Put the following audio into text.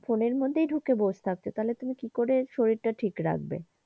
ফোনের মধ্যেই ঢুকে বসে থাকছে তাহলে তুমি কিকরে শরীর তা ঠিক রাখবে।